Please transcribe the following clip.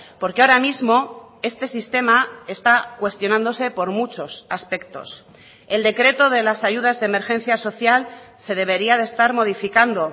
porque ahora mismo este sistema está cuestionándose por muchos aspectos el decreto de las ayudas de emergencia social se debería de estar modificando